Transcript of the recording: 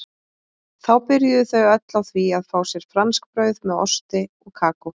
Þá byrjuðu þau öll á því að fá sér franskbrauð með osti og kakó.